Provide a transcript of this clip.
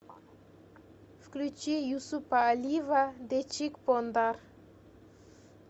включи юсупа алиева дечиг пондар